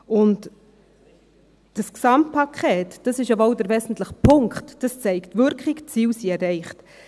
Und dieses Gesamtpaket – das ist ja wohl der wesentliche Punkt – zeigt Wirkung, die Ziele sind erreicht.